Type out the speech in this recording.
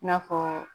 I n'a fɔ